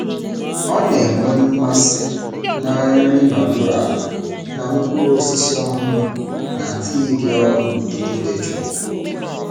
Ọ na-enwe mmasị na nri nọdụ ala na mkpụrụ osisi ọhụrụ na tii dị ọkụ n’ụtụtụ dị jụụ.